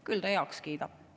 Küll ta heaks kiidab.